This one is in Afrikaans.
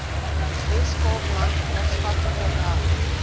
weskaapland maatskaplike werk